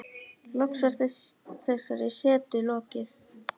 Loks var þessari setu lokið.